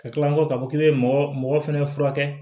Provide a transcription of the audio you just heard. Ka kila ko k'a fɔ k'i bɛ mɔgɔ mɔgɔ mɔgɔ fɛnɛ furakɛ